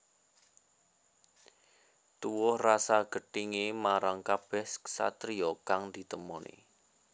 Tuwuh rasa gethingé marang kabèh satriya kang ditemoni